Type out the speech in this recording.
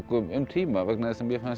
um tíma vegna þess að mér fannst